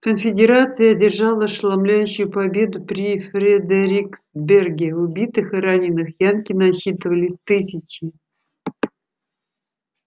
конфедерация одержала ошеломляющую победу при фредериксберге убитых и раненых янки насчитывались тысячи